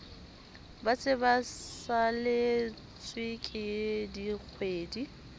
ba se ba saletsweke dikgwedi